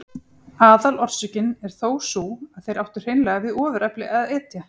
Aðalorsökin er þó sú að þeir áttu hreinlega við ofurefli að etja.